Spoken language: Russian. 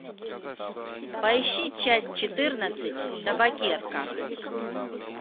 поищи часть четырнадцать табакерка